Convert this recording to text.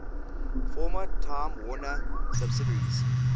former time warner subsidiaries